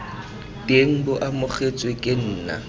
teng bo amogetswe ke nna